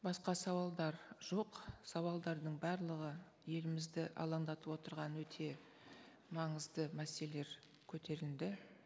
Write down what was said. басқа сауалдар жоқ сауалдардың барлығы елімізді алаңдатып отырған өте маңызды мәселелер көтерілді